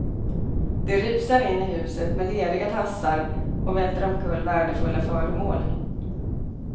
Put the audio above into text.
De rusar in i huset med leriga tassar och välter omkull värdefulla föremål.